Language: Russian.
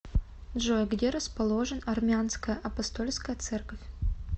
джой где расположен армянская апостольская церковь